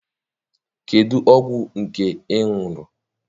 Kedụ ọgwụ nke ị ṅụrụ?